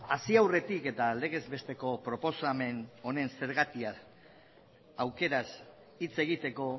hasi aurretik eta legez besteko proposamen honen zergatia aukeraz hitz egiteko